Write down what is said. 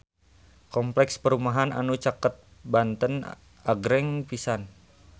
Kompleks perumahan anu caket Banten agreng pisan